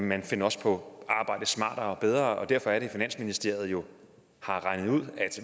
man finder også på at arbejde smartere og bedre og derfor er det at finansministeriet har regnet ud at